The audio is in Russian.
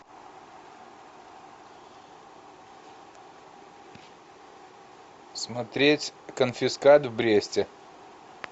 смотреть конфискат в бресте